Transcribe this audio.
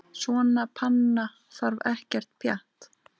Svona panna þarf ekkert pjatt.